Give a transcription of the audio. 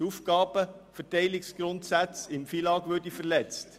Es wurde gesagt, die Aufgabenverteilungsgrundsätze des FILAG würden verletzt.